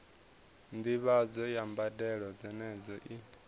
ndivhadzo ya mbadelo dzenedzo i